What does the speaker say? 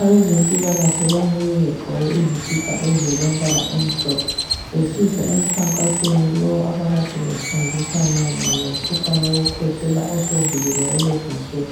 Abezempilakahle babuye begqoke izikipa ezilombala omhlophe besiza emkhankasweni lowu abakade befundisa mayelana lomkhuhlane wokukhwehlela osuvukile kulezinsuku